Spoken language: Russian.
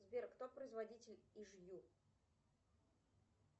сбер кто производитель иж ю